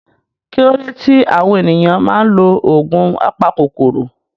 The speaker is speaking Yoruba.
Kí ló dé tí àwọn ènìyàn máa ń lo oògùn apakòkòrò?